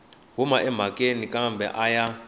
huma emhakeni kambe a ya